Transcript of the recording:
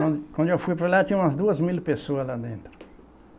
Quando quando eu fui para lá, tinha umas duas mil pessoas lá dentro.